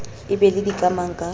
o be le dikamang ka